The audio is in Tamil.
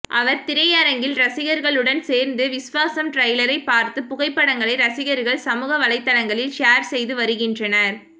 அவர் திரையரங்கில் ரசிகர்களுடன் சேர்ந்து விஸ்வாசம் ட்ரெய்லரை பார்த்து புகைப்படங்களை ரசிகர்கள் சமூக வலைதளங்களில் ஷேர் செய்து வருகின்றனர்